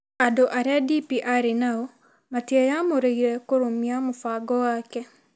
Andũ arĩa DP arĩ nao matiĩamũrĩire kũrũmia mũbango wake.